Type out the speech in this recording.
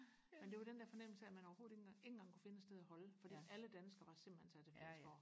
men det var den der fornemmelse af at man overhovedet ikke engang kunne finde et sted og holde fordi alle danskere var simpelthen taget til Flensborg